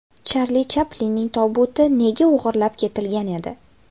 Charli Chaplinning tobuti nega o‘g‘irlab ketilgan edi?.